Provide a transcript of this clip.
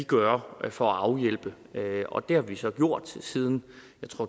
gøre for at afhjælpe og det har vi så gjort siden